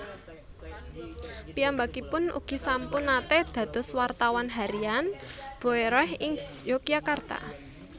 Piyambakipun ugi sampun naté dados wartawan Harian Boeroeh ing Yogyakarta